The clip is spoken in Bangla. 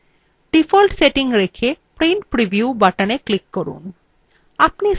ডিফল্ট সেটিং রেখে print preview button click করুন